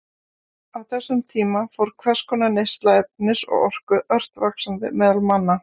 Á þessum tíma fór hvers konar neysla efnis og orku ört vaxandi meðal manna.